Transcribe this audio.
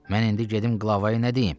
Mən indi gedim qlavaya nə deyim?